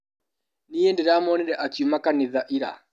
Nĩi ndĩramwonire akiuma kanitha ira.